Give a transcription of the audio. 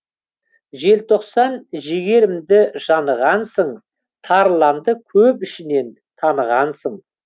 желтоқсан жігерімді жанығансың тарланды көп ішінен танығансың